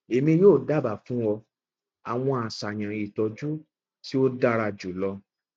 emi yoo daba fun ọ awọn aṣayan itọju ti o dara julọ